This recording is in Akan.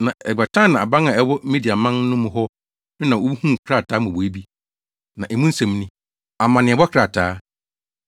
Na Ekbatana aban a ɛwɔ Mediaman no mu hɔ no na wohuu krataa mmobɔwee bi. Na emu nsɛm ni: Amanneɛbɔ krataa: